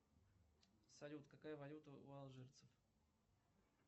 салют какая валюта у алжирцев